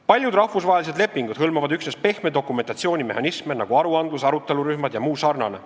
Paljud rahvusvahelised lepingud hõlmavad üksnes pehme dokumentatsiooni mehhanisme, nagu aruandlus, arutelurühmad ja muu sarnane.